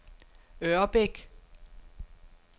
Ørbæk